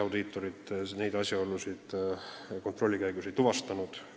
Midagi sellist ei tuvastatud.